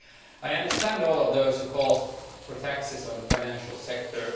I understand all of those who call for taxes on the financial sector.